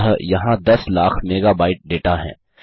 अतः यहाँ दस लाख मेगाबाइट डेटा है